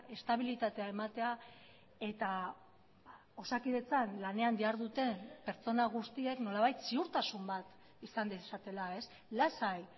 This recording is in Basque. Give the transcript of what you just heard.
estabilitatea ematea eta osakidetzan lanean diharduten pertsona guztiek nolabait ziurtasun bat izan dezatela lasai